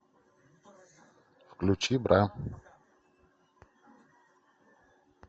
включи бра